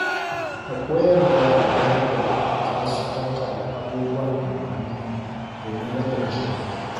Ka koyar da yara yadda za su tattala abubuwan amfani domin rage kashe kuɗi.